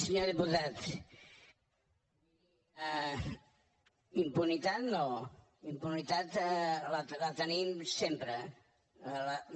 senyor diputat impunitat no impunitat la tenim sempre no